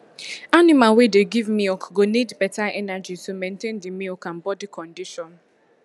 animal wey dey give milk go need better energy to maintain the milk and body condition